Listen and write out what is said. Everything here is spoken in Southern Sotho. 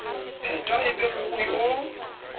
phetwa e be mmohi o